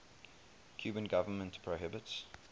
cuban government prohibits